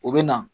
U bɛ na